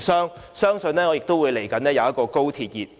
我相信，接着將會出現"高鐵熱"。